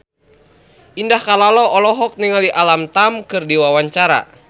Indah Kalalo olohok ningali Alam Tam keur diwawancara